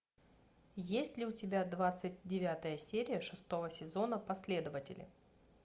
есть ли у тебя двадцать девятая серия шестого сезона последователи